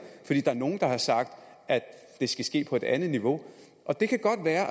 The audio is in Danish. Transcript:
nogle der har sagt at det skal ske på et andet niveau det kan godt være